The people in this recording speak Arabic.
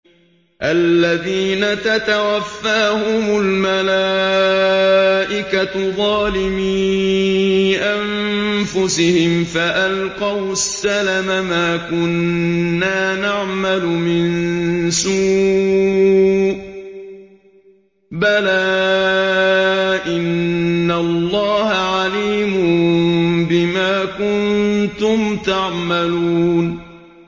الَّذِينَ تَتَوَفَّاهُمُ الْمَلَائِكَةُ ظَالِمِي أَنفُسِهِمْ ۖ فَأَلْقَوُا السَّلَمَ مَا كُنَّا نَعْمَلُ مِن سُوءٍ ۚ بَلَىٰ إِنَّ اللَّهَ عَلِيمٌ بِمَا كُنتُمْ تَعْمَلُونَ